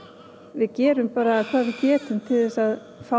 við gerum hvað við getum til þess að fá